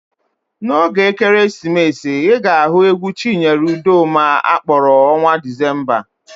N'oge ekeresimesi, ị ga-anụ égwú Chinyere Udoma a kpọrọ Ọnwạ Dịzemba.